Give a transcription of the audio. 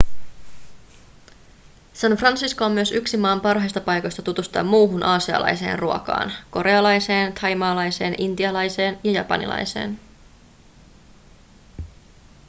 san francisco on myös yksi maan parhaista paikoista tutustua muuhun aasialaiseen ruokaan korealaiseen thaimaalaiseen intialaiseen ja japanilaiseen